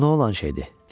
Bu nə olan şeydir?